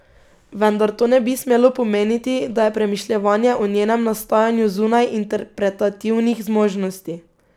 Vendar to ne bi smelo pomeniti, da je premišljevanje o njenem nastajanju zunaj interpretativnih zmožnosti.